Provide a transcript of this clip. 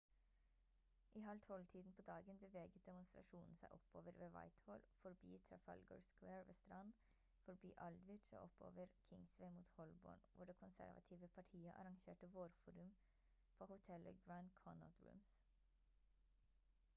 i halv tolv-tiden på dagen beveget demonstrasjonen seg oppover ved whitehall forbi trafalgar square ved strand forbi aldwych og oppover kingsway mot holborn hvor det konservative partiet arrangerte vårforum på hotellet grand connaught rooms